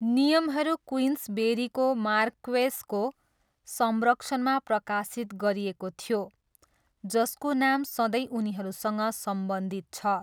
नियमहरू क्विन्सबेरीको मार्क्वेसको संरक्षणमा प्रकाशित गरिएको थियो, जसको नाम सधैँ उनीहरूसँग सम्बन्धित छ।